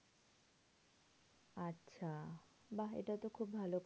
আচ্ছা বাহ্ এটা খুবই ভালো